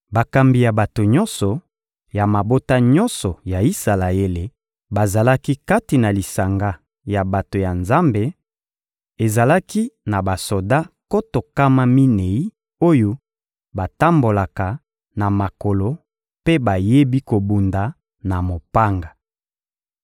Bakambi ya bato nyonso, ya mabota nyonso ya Isalaele bazalaki kati na lisanga ya bato ya Nzambe: ezalaki na basoda nkoto nkama minei oyo batambolaka na makolo mpe bayebi kobunda na mopanga.